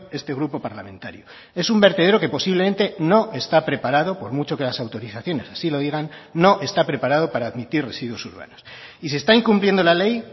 este grupo parlamentario esun vertedero que posiblemente no está preparado por mucho que las autorizaciones así lo digan no está preparado para admitir residuos urbanos y se está incumpliendo la ley